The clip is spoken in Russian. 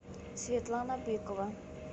светлана быкова